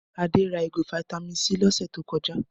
Adé ra ìgò fataímìn C lọ́sẹ̀ tó kọjá.